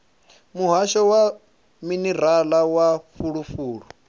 muhasho wa minerala na fulufulu